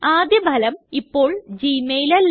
ആദ്യ ഫലം ഇപ്പോള് ഗ്മെയിൽ അല്ല